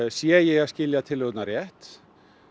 sé ég að skilja tillögurnar rétt